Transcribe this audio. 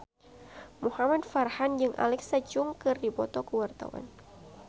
Muhamad Farhan jeung Alexa Chung keur dipoto ku wartawan